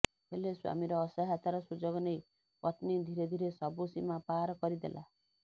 ହେଲେ ସ୍ୱାମୀର ଅସହାୟତାର ସୁଯୋଗ ନେଇ ପତ୍ନୀ ଧୀରେ ଧୀରେ ସବୁ ସୀମା ପାର କରିଦେଲା